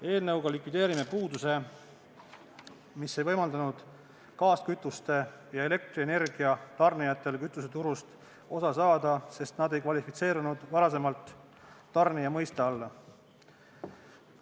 Eelnõuga likvideerime puuduse, mis ei võimaldanud gaaskütuste ja elektrienergia tarnijatel kütuseturust osa saada, sest nad ei kvalifitseerunud tarnija mõiste alla.